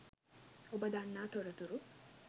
ඔබ දන්නා තොරතුරු